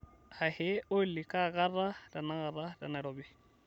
ahe olly kaakata tenakata tenairobi